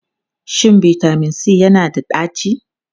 Shin bitamin C yana da ɗaci?